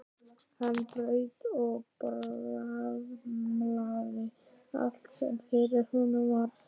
Hann braut og bramlaði allt sem fyrir honum varð.